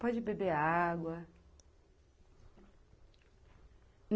Pode beber água.